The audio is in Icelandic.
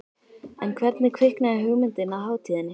En hvernig kviknaði hugmyndin að hátíðinni?